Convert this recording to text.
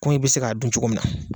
Komi i bɛ se k'a dun cogo min na.